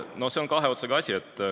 No see on kahe otsaga asi.